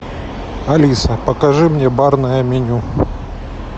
алиса покажи мне барное меню